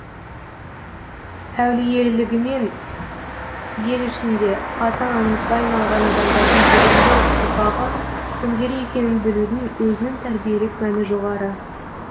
әулиелігімен ел ішінде аты аңызға айналған адамдардың бүгінгі ұрпағы кімдер екенін білудің өзінің тәрбиелік мәні жоғары